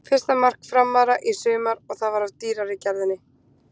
Fyrsta mark Framara í sumar og það var af dýrari gerðinni.